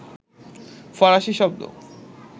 ফরাসি শব্দ